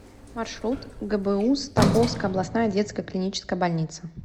маршрут гбуз тамбовская областная детская клиническая больница